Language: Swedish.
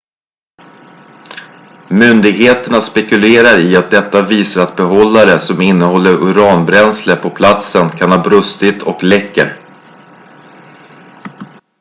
myndigheterna spekulerar i att detta visar att behållare som innehåller uranbränsle på platsen kan ha brustit och läcker